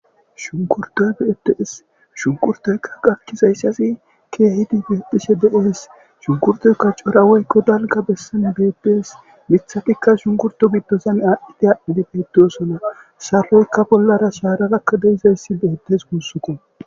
shunkurtoy beetees shunkurtoyka gakkizayssasi keehidi beephishe de7ees shunkurtoykka cora woykko dalga bessan beepies mithatikka shunkurto giddozan aadhdidi adhdhidi peetiosona saloykka bollara shaaragakka deizayssi beettes guussukko